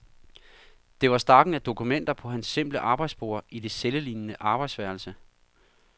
Det var stakken af dokumenter på hans simple arbejdsbord i det cellelignende arbejdsværelse.